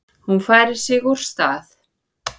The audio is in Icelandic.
Hún færir sig úr stað.